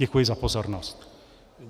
Děkuji za pozornost.